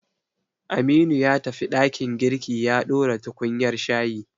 Aminu ya tafi ɗakin girki ya ɗora tukunyar shayi.